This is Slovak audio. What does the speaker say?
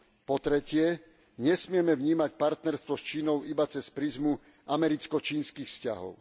Po tretie, nesmieme vnímať partnerstvo s Čínou iba cez prizmu americko čínskych vzťahov.